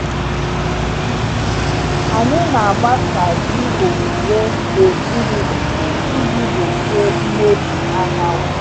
Anyị na-agbasa ji owuwe n’okpuru ndò iji gbochie mmebi anyanwụ.